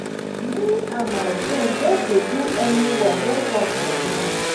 me and my friend just dey do any work wey come for now